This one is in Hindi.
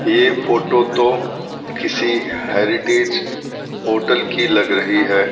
यह फोटो तो किसी हेरिटेज होटल की लग रही है।